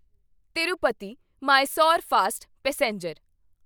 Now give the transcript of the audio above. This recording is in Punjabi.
Tirupati Mysore fast passenger